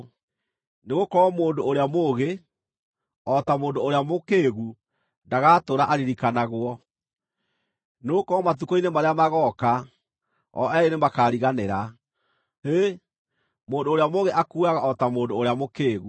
Nĩgũkorwo mũndũ ũrĩa mũũgĩ, o ta mũndũ ũrĩa mũkĩĩgu, ndagatũũra aririkanagwo; nĩgũkorwo matukũ-inĩ marĩa magooka o eerĩ nĩmakariganĩra. Hĩ, mũndũ ũrĩa mũũgĩ akuuaga o ta mũndũ ũrĩa mũkĩĩgu!